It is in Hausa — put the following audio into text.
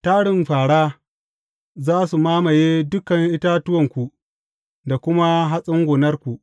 Tarin fāra za su mamaye dukan itatuwanku da kuma hatsin gonarku.